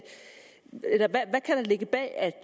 ligge bag at